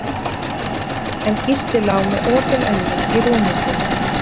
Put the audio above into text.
Hansína var horfin, en Gísli lá með opin augu í rúmi sínu.